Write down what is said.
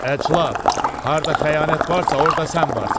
Əclaf, harda xəyanət varsa, orda sən varsan.